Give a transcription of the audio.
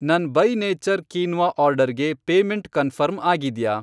ನನ್ by nature quinoa ಆರ್ಡರ್ಗೆ payment confirm ಆಗಿದ್ಯಾ?